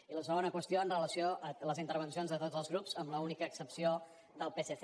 i la segona qüestió en relació a les intervencions de tots els grups amb l’única excepció del psc